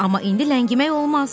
Amma indi ləngimək olmaz.